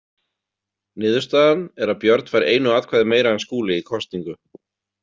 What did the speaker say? Niðurstaðan er að Björn fær einu atkvæði meira en Skúli í kosningu.